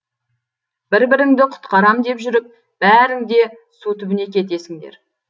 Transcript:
бір біріңді құтқарам деп жүріп бәрің де су түбіне кетесіңдер